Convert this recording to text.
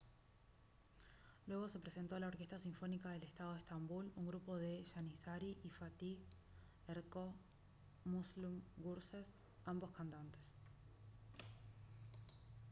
luego se presentó la orquesta sinfónica del estado de estambul un grupo de janissary y fatih erkoç y müslüm gürses ambos cantantes